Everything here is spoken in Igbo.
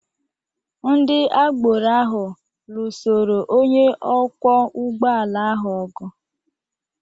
Ndị agboro ahụ lụsoro onye ọkwọ ụgbọala ahụ ọgụ.